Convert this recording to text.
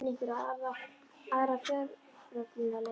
Hann varð að finna einhverja aðra fjáröflunarleið.